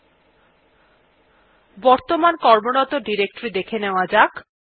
এখন বর্তমান কর্মরত ডিরেক্টরী দেখা নেওয়া যাক